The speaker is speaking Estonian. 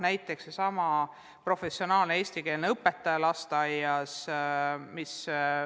Näiteks seesama professionaalne eestikeelne õpetaja lasteaias.